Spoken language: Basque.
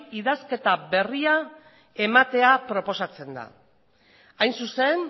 idazketa berria ematea proposatzen da hain zuzen